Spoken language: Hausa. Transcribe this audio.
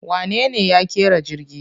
Wanene ya ƙera jirgi?